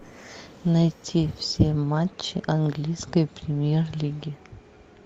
найти все матчи английской премьер лиги